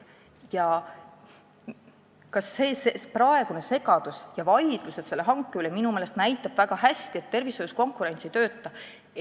Ka praegune segadus ja vaidlused selle hanke üle näitavad minu meelest väga hästi, et tervishoius konkurents ei tööta.